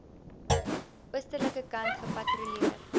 oostelike kant gepatrolleer